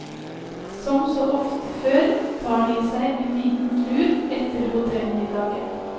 Som så ofte før tar de seg en liten lur etter hotellmiddagen.